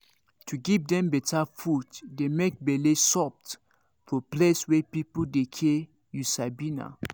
to give dem better food dey make bele soft for place wey people dey care you sabi naa.